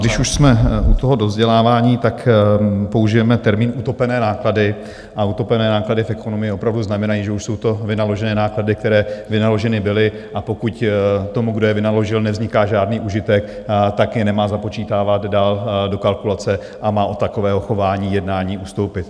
Když už jsme u toho dovzdělávání, tak použijeme termín utopené náklady a utopené náklady v ekonomii opravdu znamenají, že už jsou to vynaložené náklady, které vynaloženy byly, a pokud tomu, kdo je vynaložil, nevzniká žádný užitek, tak je nemá započítávat dál do kalkulace a má od takového chování, jednání ustoupit.